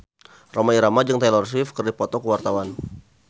Rhoma Irama jeung Taylor Swift keur dipoto ku wartawan